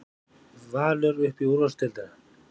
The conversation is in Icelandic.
Valur upp í úrvalsdeildina